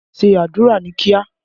Ṣé àdúrà ní kíá!